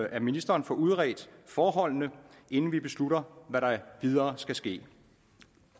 at ministeren får udredt forholdene inden vi beslutter hvad der videre skal ske